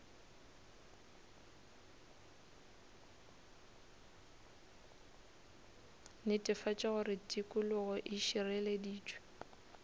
netefatša gore tikologo e šireleditšwe